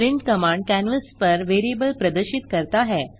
print command canvas पर variable प्रदर्शित करता है